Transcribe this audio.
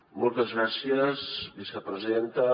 moltes gràcies vicepresidenta